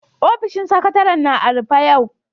Ofishin Sakatare'n na a'rufe yau.